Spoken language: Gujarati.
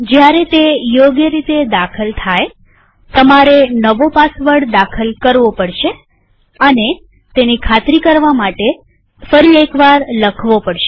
જયારે તે યોગ્ય રીતે દાખલ થાયતમારે નવો પાસવર્ડ દાખલ કરવો પડશે અને તેની ખાતરી કરવા ફરી એક વાર લખવો પડશે